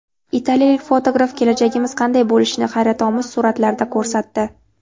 Italiyalik fotograf kelajagimiz qanday bo‘lishini hayratomuz suratlarda ko‘rsatdi.